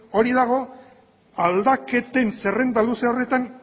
hori dago aldaketen zerrenda luze horretan